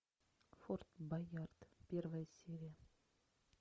форт боярд первая серия